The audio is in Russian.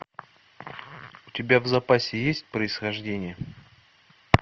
у тебя в запасе есть происхождение